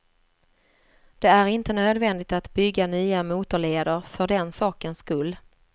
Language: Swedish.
Det är inte nödvändigt att bygga nya motorleder för den sakens skull.